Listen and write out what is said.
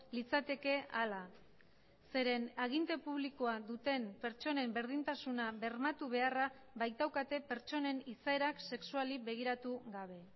litzateke ahala zeren aginte publikoa duten pertsonen berdintasuna bermatu beharra baitaukate pertsonen izaerak sexuali begiratu gabe